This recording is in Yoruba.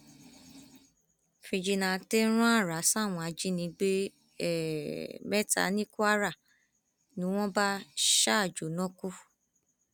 fíjìnnàtẹ rán ààrá sáwọn ajínigbé um mẹta ní kwara ni wọn bá um jóná kú